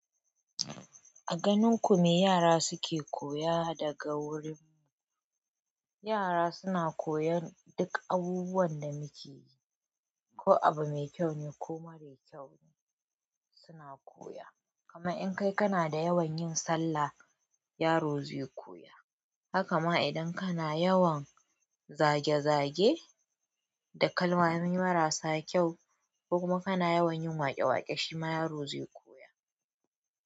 A ganin ku me yara suke koya daga wurin ku? Yara suna koyon duk abubuwan da muke yi, ko abu mai kyau ne ko mara kyau ne suna koya. Kamar in kai kana da yawan yin sallah, yaro zai koya. Haka ma idan kana yawan zage-zage da kalmomi marasa kyau, ko kuma kana yawan yin waƙe-waƙe, shima yaro zai koya.